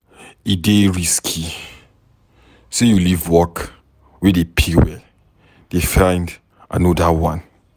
E dey risky sey you leave work wey dey pay well dey find anoda one.